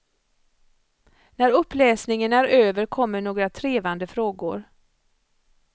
När uppläsningen är över kommer några trevande frågor.